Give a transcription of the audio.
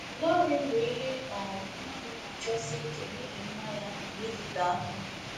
ỌLỌRỊN bụ ihe um mmadụ na-achọsi ike n’ihi mma ya na ịdịte aka.